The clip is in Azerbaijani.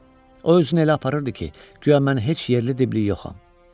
O özünü elə aparırdı ki, guya mən heç yerli-dibli yoxam.